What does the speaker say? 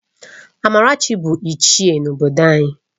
Amarachi bụ Ichie n’obodo anyị